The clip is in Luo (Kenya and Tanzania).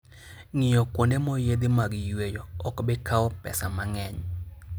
Ng'iyo kuonde moyiedhi mag yueyo ok bi kawo pesa mang'eny.